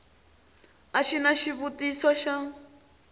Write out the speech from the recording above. a xi na xivutiso xa